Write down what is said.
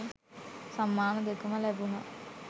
සම්මාන දෙකම ලැබුණා.